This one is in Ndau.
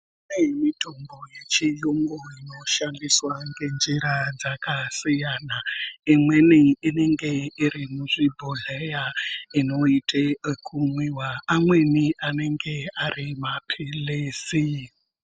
Kune mitombo yechiyungu inoshandiswa ngenjira dzakasiyana. Imweni inenge iri muzvibhodhleya inoite ekumwiwa, amweni anenge ari maphilizi.